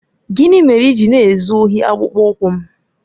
Gịnị mere i ji na-ezu ohi akpụkpọ ụkwụ m?